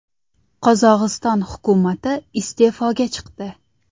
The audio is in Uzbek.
Qozog‘iston hukumati iste’foga chiqdi.